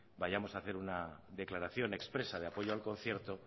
vayamos a hacer una declaración expresa de apoyo al concierto